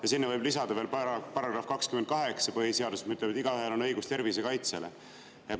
Ja sinna võib lisada veel § 28 põhiseadusest, mis ütleb, et igaühel on õigus tervise kaitsele.